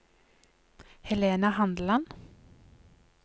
Helena Handeland